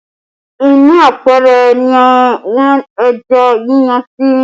Inú apẹ̀rẹ̀ ni wọ́n ẹja yíyan sí